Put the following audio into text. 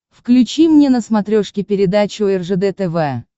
включи мне на смотрешке передачу ржд тв